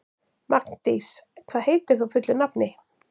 Magndís, hvað heitir þú fullu nafni?